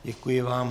Děkuji vám.